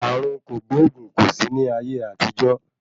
Ààrùn kògbóògùn kò sí ní ayé àtijọ́.